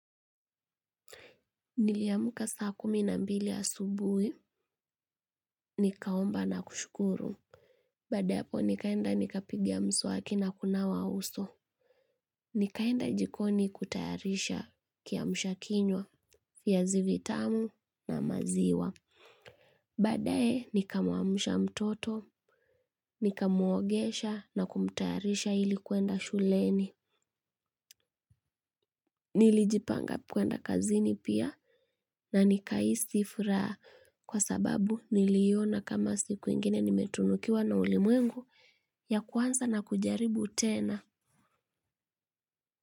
Niliamuka saa kumi na mbili asubuhi, nikaomba na kushukuru. Baada ya hapo nikaenda nikapigia mswaki na kunawa uso. Nikaenda jikoni kutayarisha kiamsha kinywa viazi vitamu na maziwa. Badae nikamwamsha mtoto, nikamuogesha na kumtayarisha ili kuenda shuleni. Nilijipanga kwenda kazini pia na nikahisi furaha kwa sababu niliona kama siku ingine nimetunukiwa na ulimwengu ya kuanza na kujaribu tena.